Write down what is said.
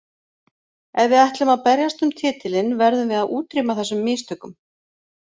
Ef við ætlum að berjast um titilinn verðum við að útrýma þessum mistökum.